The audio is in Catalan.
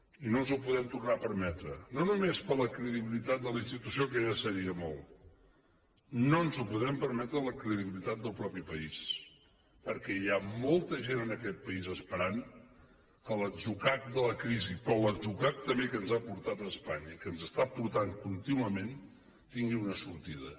i no ens ho podem tornar a permetre no només per a la credibilitat de la institució que ja seria molt no ens ho podem permetre per a la credibilitat del propi país perquè hi ha molta gent en aquest país esperant que l’atzucac de la crisi però l’atzucac també que ens ha portat espanya que ens està portant contínuament tingui una sortida